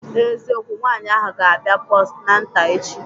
N'eziokwu, nwaanyị ahụ ga-abịa postnata echi